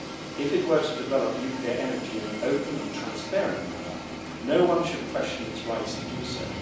If it were to develop nuclear energy in an open and transparent manner, no one should question its right to do so.